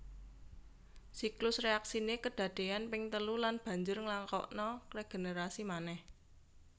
Siklus réaksiné kedadéyan ping telu lan banjur nglakokna régenerasi manéh